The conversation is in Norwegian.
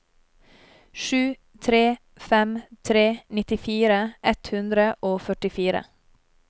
sju tre fem tre nittifire ett hundre og førtifire